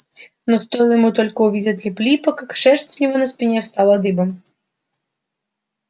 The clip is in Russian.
но стоило ему только увидеть лип липа как шерсть у него на спине встала дыбом